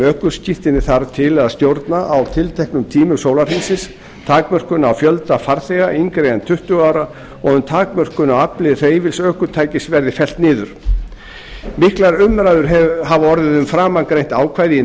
ökuskírteini þarf til að stjórna á tilteknum tímum sólarhringsins takmörkun á fjölda farþega yngri en tuttugu ára og um takmörkun á afli hreyfils ökutækis verði fellt niður mikil umræða hefur orðið um framangreint ákvæði í